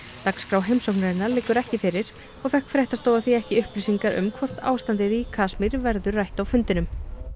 dagskrá heimsóknarinnar liggur ekki fyrir og fékk fréttastofa því ekki upplýsingar um það hvort ástandið í Kasmír verði rætt á fundinum